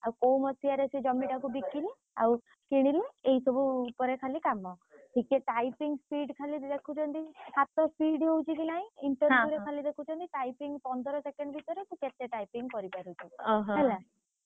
ଆଉ କୋଉ ମସିହାରେ ସେ ଜମିଟାକୁ ବିକିଲେ ଆଉ କିଣିଲେ ଏହି ସବୁ ଉପରେ ଖାଲି କାମ